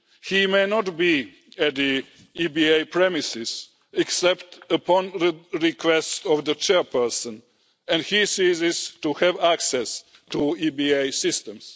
He may not be on the EBA premises except upon the request of the Chairperson and he ceases to have access to EBA systems.